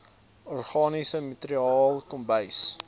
organiese materiaal kombuis